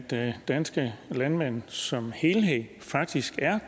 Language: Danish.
det at danske landmænd som helhed faktisk er